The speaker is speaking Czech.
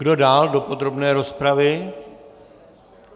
Kdo dál do podrobné rozpravy?